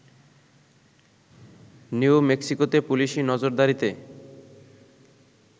new মেক্সিকোতে পুলিশি নজরদারিতে